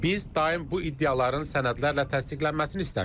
Biz daim bu iddiaların sənədlərlə təsdiqlənməsini istəmişik.